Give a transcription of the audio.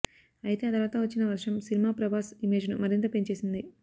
అయితే ఆ తర్వాత వచ్చిన వర్షం సినిమా ప్రభాస్ ఇమేజ్ ను మరింత పెంచేసింది